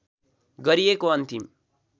गरिएको अन्तिम